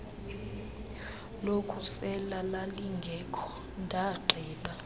lokusela lalingekho ndagqiba